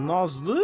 Nazlı?